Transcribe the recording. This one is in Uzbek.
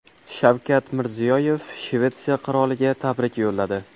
Shavkat Mirziyoyev Shvetsiya qiroliga tabrik yo‘lladi.